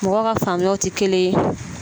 Mɔgɔ ka faamuyaw tɛ kelen ye